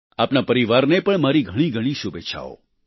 આપના પરિવારને પણ મારી ઘણી ઘણી શુભેચ્છાઓ